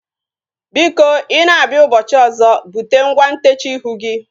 Biko i na-abịa ụbọchị ọzọ bute ngwa ntechaa ihu gị